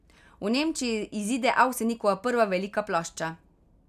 V Nemčiji izide Avsenikova prva velika plošča.